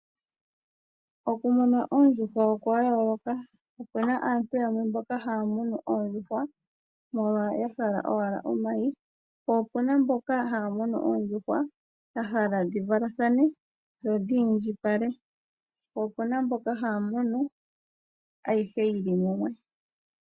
Okumuna oondjuhwa okwa yooloka, opuna aantu yamwe mboka haya munu oondjuhwa molwa owala ya hala omayi, po opuna mboka haya munu oondjuhwa ya hala dhi valathane dho dhiindjipale, po opuna mboka haya munu ayihe yili mumwe.